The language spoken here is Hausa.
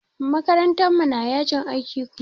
Makarantar mu na yajin aiki Kuma.